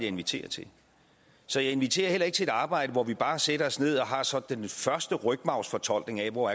inviterer til så jeg inviterer ikke til at arbejde hvor vi bare sætter os ned og har sådan den første rygmarvsfortolkning af hvor